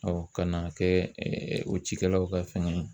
ka n'a kɛ o cikɛlaw ka fɛngɛ ye.